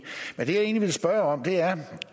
men det jeg egentlig ville spørge om er